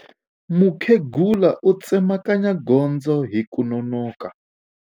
Mukhegula u tsemakanya gondzo hi ku nonoka.